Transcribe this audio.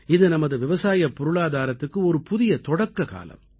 இது நமது விவசாயப் பொருளாதாரத்துக்கு ஒரு புதிய தொடக்ககாலம்